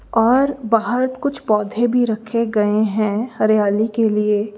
और बाहर कुछ पौधे भी रखे गए हैं हरियाली के लिए।